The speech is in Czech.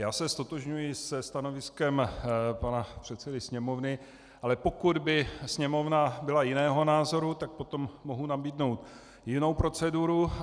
Já se ztotožňuji se stanoviskem pana předsedy Sněmovny, ale pokud by Sněmovna byla jiného názoru, tak potom mohu nabídnout jinou proceduru.